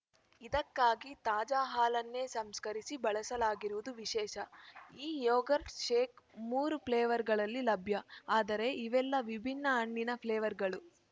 ಇದಕ್ಕಾಗಿ ತಾಜಾ ಹಾಲನ್ನೇ ಸಂಸ್ಕರಿಸಿ ಬಳಸಲಾಗಿರುವುದು ವಿಶೇಷ ಈ ಯೊಗಾರ್ಟ್‌ ಶೇಕ್‌ ಮೂರು ಫ್ಲೇವರ್‌ಗಳಲ್ಲಿ ಲಭ್ಯ ಆದರೆ ಇವೆಲ್ಲ ವಿಭಿನ್ನ ಹಣ್ಣಿನ ಫ್ಲೇವರ್‌ಗಳು